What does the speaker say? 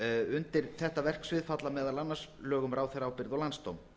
undir þetta verksvið falla meðal annars lög um ráðherraábyrgð og landsdóm